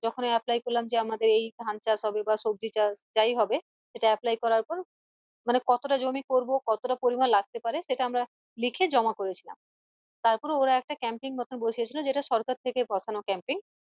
যখনই apply করলাম যে আমাদের এই ধান চাষ হবে বা সবজি চাষ যাই হবে সেটা apply করার পর মানে কতটা জমি করবো কতটা পরিমাণ লাগতে পারে সেটা আমরা লিখে জমা করেছিলাম তারপর ওরা একটা camping মত বসিয়েছিল যেটা সরকার থেকে বসানো camping